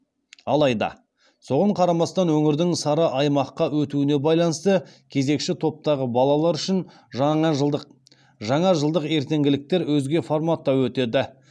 алайда соған қарамастан өңірдің сары аймаққа өтуіне байланысты кезекші топтағы балалар үшін жаңажылдық ертеңгіліктер өзге форматта өтеді